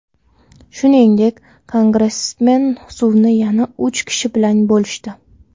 Shuningdek, kongressmen suvni yana uch kishi bilan bo‘lishdi.